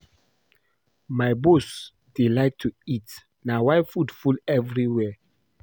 My boss dey like to eat na why food full everywhere